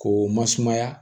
K'o masumaya